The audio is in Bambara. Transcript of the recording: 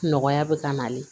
Nɔgɔya bɛ ka nalen